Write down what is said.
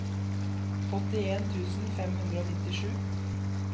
åttien tusen fem hundre og nittisju